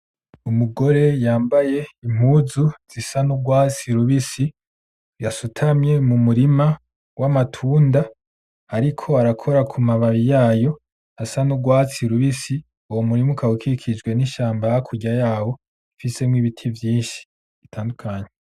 Umugore yambaye impuzu zisa n’urwatsi rubisi yasutamye mu murima w’amatunda ariko arakora ku mababi yayo asa n’urwatsi rubisi uwo murima ukaba ukikujwe n’ishamba hakurya yaho ndetse n’ibiti vyishi bitandukanye.